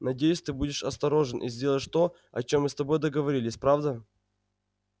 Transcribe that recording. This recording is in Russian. надеюсь ты будешь осторожен и сделаешь то о чем мы с тобой договорились правда